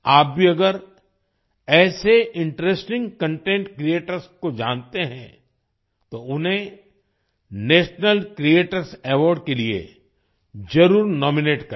आप भी अगर ऐसे इंटरेस्टिंग कंटेंट क्रिएटर्स को जानते हैं तो उन्हें नेशनल क्रिएटर्स अवार्ड के लिए जरुर नॉमिनेट करें